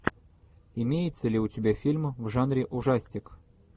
имеется ли у тебя фильм в жанре ужастик